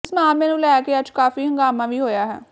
ਇਸ ਮਾਮਲੇ ਨੂੰ ਲੈ ਕੇ ਅੱਜ ਕਾਫੀ ਹੰਗਾਮਾ ਵੀ ਹੋਇਆ ਹੈ